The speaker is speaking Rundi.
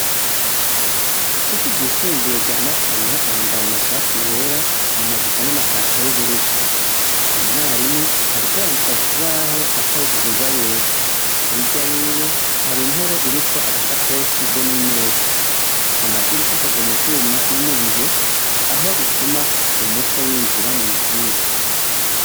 Kw'ishure ry'isumbuye rya Matana bambara amashati y'era, amajipo n'amapantaro y'ubururu. Umwarimu ariko yandika ku kibaho akoresheje ingwa y'era. Hirya yiwe, hari intebe iriko agashakoshi be n'imeza. Amadirisha akozwe mu vyuma no mu biyo, aho bituma umuco winjira mw'ishure.